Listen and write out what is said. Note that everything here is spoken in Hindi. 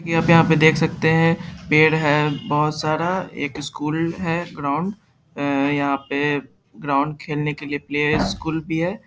यहाँ पे यहाँ पे देख सकते है पेड़ है बहुत सारा एक स्‍कूल है ग्राउड अ यहाँ पे ग्राउड खेलने के लिए प्ले स्‍कूल भी है।